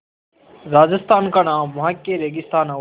राजस्थान का नाम वहाँ के रेगिस्तान और